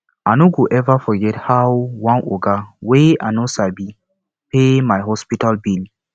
i no go eva forget how one oga wey i no sabi pay my hospital bill